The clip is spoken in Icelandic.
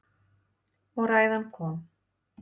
Og ræðan kom.